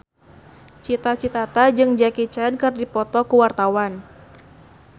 Cita Citata jeung Jackie Chan keur dipoto ku wartawan